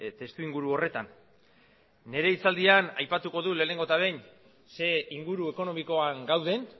testuinguru horretan nire hitzaldian aipatuko dut lehenengo eta behin zein inguru ekonomikoan gauden